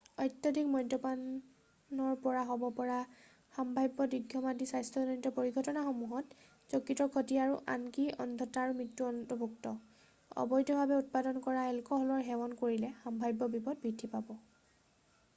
অত্যাধিক মদ্যপানৰ পৰা হ'ব পৰা সম্ভাব্য দীৰ্ঘম্যাদী স্বাস্থ্যজনিত পৰিঘটনাসমূহত যকৃতৰ ক্ষতি আৰু আনকি অন্ধতা আৰু মৃত্যু অন্তৰ্ভুক্ত অবৈধভাৱে উৎপাদন কৰা এলকহলৰ সেৱন কৰিলে সম্ভাব্য বিপদ বৃদ্ধি পায়